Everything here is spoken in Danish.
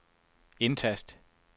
indtast